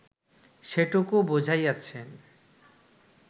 সেটুকুও বুঝাইয়াছেন